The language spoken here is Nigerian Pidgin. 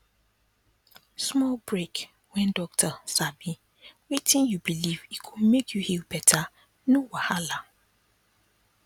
small break when docta sabi wetin you believe e go make you heal better no wahala